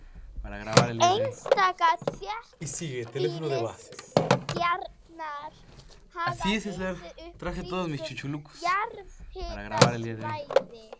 Einstaka þéttbýliskjarnar hafa risið upp kringum jarðhitasvæði.